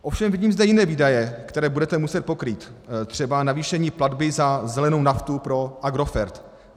Ovšem vidím zde jiné výdaje, které budete muset pokrýt, třeba navýšení platby za zelenou naftu pro Agrofert.